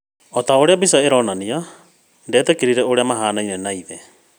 Ota ũrĩa mbĩca ĩrorania, ndetĩkirie ũrĩa mahanaine na ithe